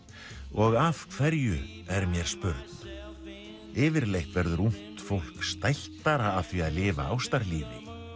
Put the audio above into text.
og af hverju er mér spurn yfirleitt verður ungt fólk stæltara af því að lifa